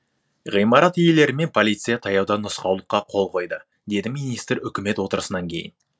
ғимарат иелері мен полиция таяуда нұсқаулыққа қол қойды деді министр үкімет отырысынан кейін